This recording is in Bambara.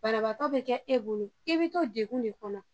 Banabaatɔ be kɛ e bolo, e be to dekun de kɔnɔ.